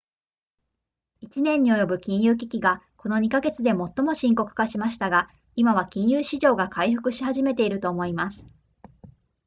「1年に及ぶ金融危機がこの2か月で最も深刻化しましたが、今は金融市場が回復し始めていると思います」